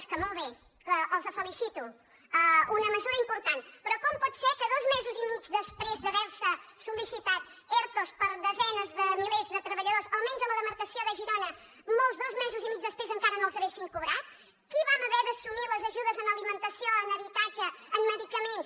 que molt bé els felicito una mesura important però com pot ser que dos mesos i mig després d’haver se sol·licitat ertos per a desenes de milers de treballadors almenys a la demarcació de girona molts dos mesos i mig després encara no l’haguessin cobrat qui vam haver d’assumir les ajudes en alimentació en habitatge en medicaments